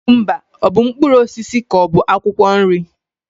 Kukumba ọ bụ mkpụrụ osisi ka ọ bụ akwukwo nri?